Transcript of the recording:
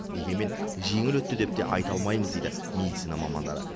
дегенмен жеңіл өтті деп те айта алмаймыз дейді медицина мамандары